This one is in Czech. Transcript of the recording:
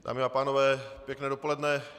Dámy a pánové, pěkné dopoledne.